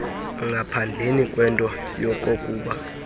ngaphandleni kwento yokokuba